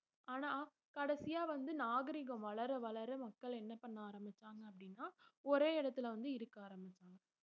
ஆனா கடைசியா வந்து நாகரிகம் வளர வளர மக்கள் என்ன பண்ண ஆரம்பிச்சாங்க அப்படின்னா ஒரே இடத்திலே வந்து இருக்க ஆரம்பிச்சாங்க